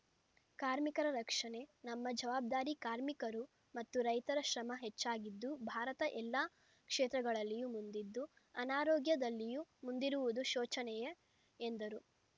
ಕಾರ್ಮಿಕರ ರಕ್ಷಣೆ ನಮ್ಮ ಜವಾಬ್ದಾರಿ ಕಾರ್ಮಿಕರು ಮತ್ತು ರೈತರ ಶ್ರಮ ಹೆಚ್ಚಾಗಿದ್ದು ಭಾರತ ಎಲ್ಲಾ ಕ್ಷೇತ್ರಗಳಲ್ಲಿಯೂ ಮುಂದಿದ್ದು ಅನಾರೋಗ್ಯದಲ್ಲಿಯೂ ಮುಂದಿರುವುದು ಶೋಚನೆಯ ಎಂದರು